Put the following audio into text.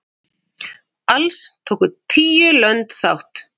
Alls tóku tíu lönd þátt.